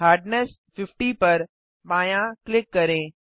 hardness 50 पर बायाँ click करें